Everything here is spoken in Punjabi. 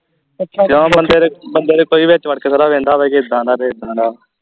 ਕਿਉਂ ਬੰਦੇ ਦੇ ਬੰਦੇ ਨੇ ਕੋਈ ਵਿਚ ਵੜਕੇ ਥੋੜ੍ਹਾ ਵਹਿੰਦਾ ਵਾ ਜੇ ਇਦਾ ਦਾ ਤੇ ਇਦਾ ਦਾ